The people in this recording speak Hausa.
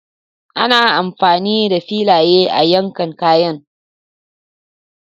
Ana amfani da filaye a yankan kayan.